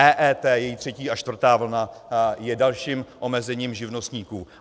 EET, její třetí a čtvrtá vlna, je dalším omezením živnostníků.